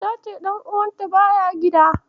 Ta ce ɗan'uwanta baya gida.